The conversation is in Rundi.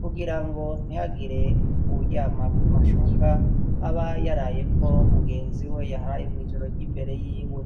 kugira ngo ntihagire uwuryama ku mashuka aba yarayeko mugenzi we yaharaye mw' ijoro ry'imbere y'iwe.